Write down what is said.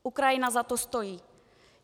Ukrajina za to stojí.